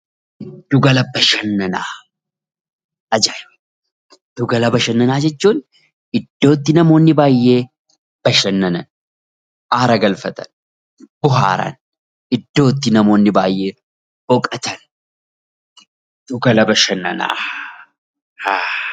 Giddu gala bashannanaa Giddu gala bashannanaa jechuun iddootti namoonni baayyee bashannanan haara galfatan , bohaaran, iddoo itti namoonni bayyeen boqotan giddu gala bashannanaa.